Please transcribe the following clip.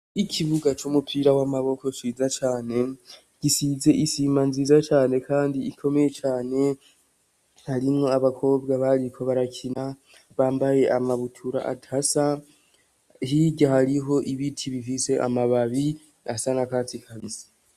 yikibuga cy'umupira w'amaboko ciza cane gisize isima nziza cane kandi ikomeye cane harimwo abakobwa bariko barakina bambaye amabutura atasa hirya hariho ibiti bifise amababi asana nakatsi kabisa